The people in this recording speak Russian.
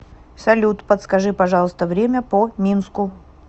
салют подскажи пожалуйста время по минску